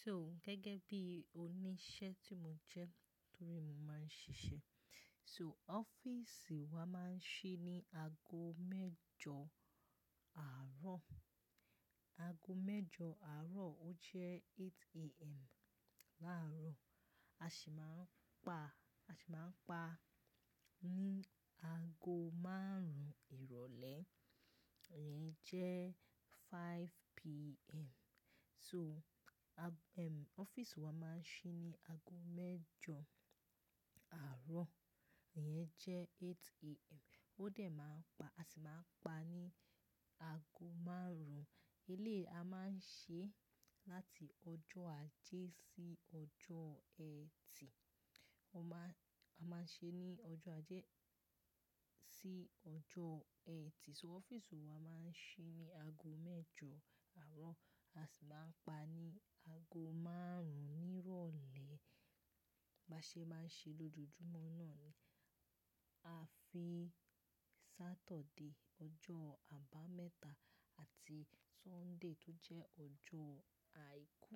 So gẹ́gẹ́ bí oníṣẹ́ tí mo jẹ́ torí mo máa ń ṣiṣẹ́. So ọ́fíìsì wa máa ń ṣí ní aago mẹ́jọ àárọ̀, aago mẹ́jọ àárọ̀ ó jẹ́ eight AM. Láàárọ̀ a sì máa ń pa, a sì máa ń pa ní aago márùn-ún ìrọ̀lẹ́ ìyẹn jẹ́ five PM. So a ọ́fíìsì wa máa ń ṣí ní aago mẹ́jọ àárọ̀ ìyẹn jẹ́ eight AM. Ó dẹ̀ máa ń pa, a sì máa ń pa ní ago márùn-ún. Eléyìí a máa ń ṣe láti ọjọ́ Ajé sí ọjọ́ Ẹtì. A máa, a máa ń ṣe ní ọjọ́ Ajé sí ọjọ́ Ẹtì. So ọ́fíìsì wa máa ń ṣí ní aago mẹ́jọ àárọ̀, a sì máa ń pa ní ago márùn-ún ní ìrọ̀lẹ́. Ba ṣe bá ń ṣe lójoojúmọ́ náà ni. A fi Saturday ọjọ́ àbámẹ́ta àti Sunday tó jẹ́ ọjọ́ àìkú.